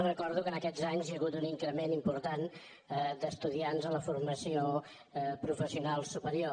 recordo que en aquests anys hi ha hagut un increment important d’estudiants a la formació professional superior